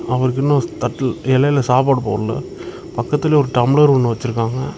அவருக்கு இன்னும் தட்ல இலையில சாப்பாடு போடல பக்கத்துல ஒரு டம்ளர் ஒன்னு வச்சிருக்காங்க.